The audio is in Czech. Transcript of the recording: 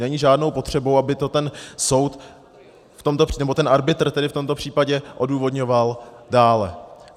Není žádnou potřebou, aby to ten soud, nebo ten arbitr tedy v tomto případě, odůvodňoval dále.